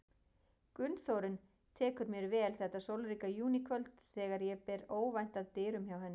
Gunnþórunn tekur mér vel þetta sólríka júníkvöld þegar ég ber óvænt að dyrum hjá henni.